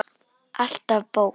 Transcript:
Alltaf bók.